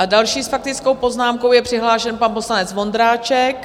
A další s faktickou poznámkou je přihlášen pan poslanec Vondráček.